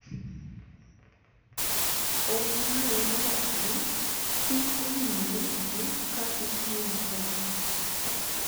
Ongwae nowacho ni chik owinjore olu ka itimo kamano